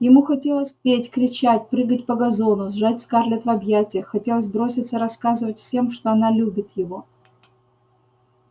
ему хотелось петь кричать прыгать по газону сжать скарлетт в объятиях хотелось броситься рассказывать всем что она любит его